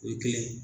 O ye kelen ye